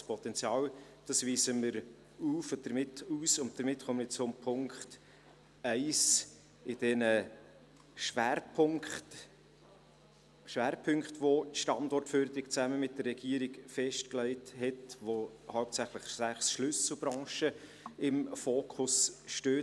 Das Potenzial weisen wir aus, und damit komme ich zum Punkt 1 dieser Schwerpunkte, welche die Standortförderung zusammen mit der Regierung festgelegt hat, bei der hauptsächlich sechs Schlüsselbranchen im Fokus stehen.